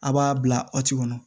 A b'a bila kɔnɔ